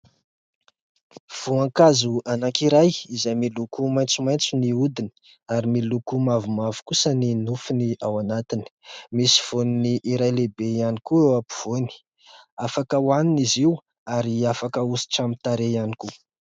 Voankazo anankiray izay miloko maitsomaitso ny hodiny ary miloko mavomavo kosa ny nofony ao anatiny. Misy voany iray lehibe ihany koa eo ampovoany ; afaka hohanina izy io ary afaka hahosotra amin'ny tarehy ihany koa.